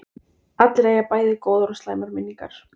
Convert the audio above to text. Allir eiga bæði góðar og slæmar minningar.